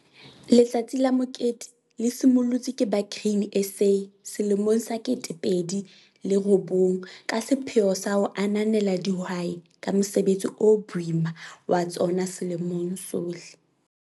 Letsatsi la mokete le simollotswe ke ba Grain SA selemong sa 2009 ka sepheo sa ho ananela dihwai ka mosebetsi o boima wa tsona selemong sohle.